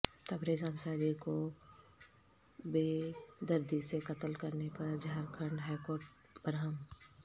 تبریز انصاری کو بیدردی سے قتل کرنے پر جھارکھنڈ ہائیکورٹ برہم